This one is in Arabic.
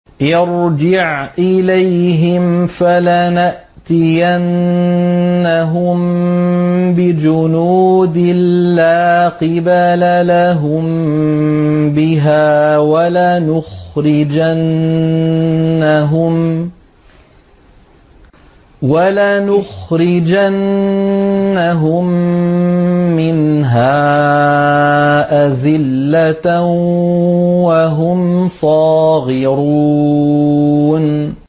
ارْجِعْ إِلَيْهِمْ فَلَنَأْتِيَنَّهُم بِجُنُودٍ لَّا قِبَلَ لَهُم بِهَا وَلَنُخْرِجَنَّهُم مِّنْهَا أَذِلَّةً وَهُمْ صَاغِرُونَ